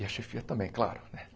E a chefia também, claro.